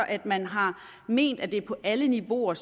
at man har ment at det så er på alle niveauer